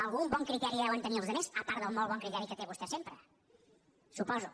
algun bon criteri deuen tenir els altres a part del molt bon criteri que té vostè sempre suposo